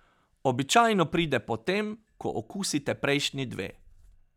Običajno pride potem, ko okusite prejšnji dve.